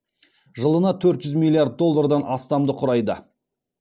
жылына төрт жүз миллиард доллардан астамды құрайды